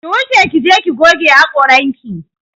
Ki wuce ki je ki goge haƙoranki!